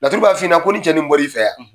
Laturu b'a f'i ɲɛna ko nin cɛ nin bɔl'i fɛ yan.